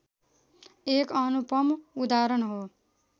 एक अनुपम उदाहरण हो